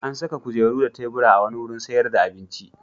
An saka kujeru da tebura a wani wurin sayar da abinci.